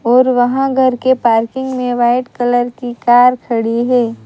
और वहां घर के पार्किंग में वाइट कलर की कार खड़ी है।